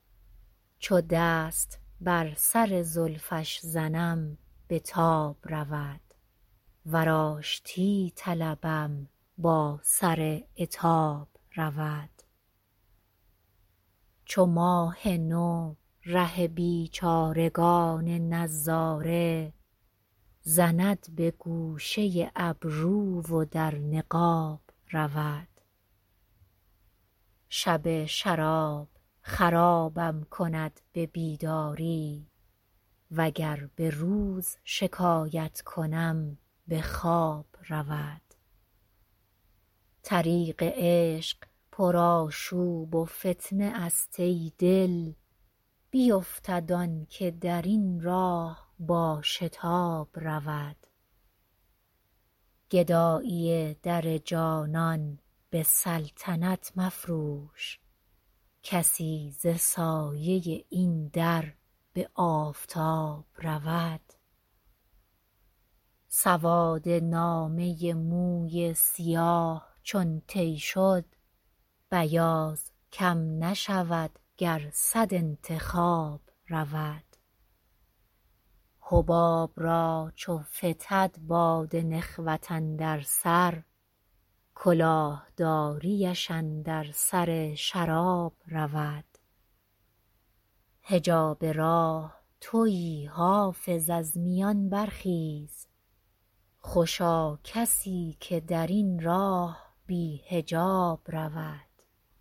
چو دست بر سر زلفش زنم به تاب رود ور آشتی طلبم با سر عتاب رود چو ماه نو ره بیچارگان نظاره زند به گوشه ابرو و در نقاب رود شب شراب خرابم کند به بیداری وگر به روز شکایت کنم به خواب رود طریق عشق پرآشوب و فتنه است ای دل بیفتد آن که در این راه با شتاب رود گدایی در جانان به سلطنت مفروش کسی ز سایه این در به آفتاب رود سواد نامه موی سیاه چون طی شد بیاض کم نشود گر صد انتخاب رود حباب را چو فتد باد نخوت اندر سر کلاه داریش اندر سر شراب رود حجاب راه تویی حافظ از میان برخیز خوشا کسی که در این راه بی حجاب رود